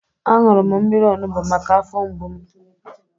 Aṅụrụ m mmiri onubu maka afọ mgbu m